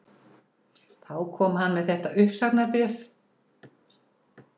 Þá kom hann með þetta uppsagnarbréf